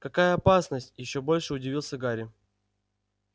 какая опасность ещё больше удивился гарри